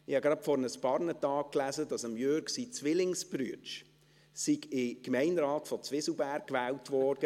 Ich habe gerade vor ein paar Tagen gelesen, dass der Zwillingsbruder von Jürg Iseli in den Gemeinderat von Zwieselberg gewählt wurde.